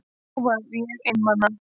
Og þá var ég einmana.